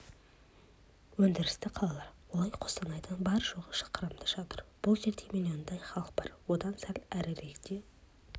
өндірісті қалалар олар қостанайдан бар-жоғы шақырымда жатыр бұл жерде миллиондай халық бар одан сәл әріректе